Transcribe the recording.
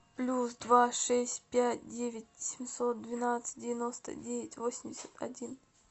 плюс два шесть пять девять семьсот двенадцать девяносто девять восемьдесят один